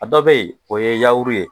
A dɔ bɛ yen o ye yawuru ye